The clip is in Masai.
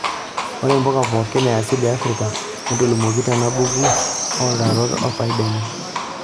Ore mpukaa pooki easili e afrika netolimuoki tena buku ooutarot ofaida enye.